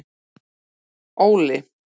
Óli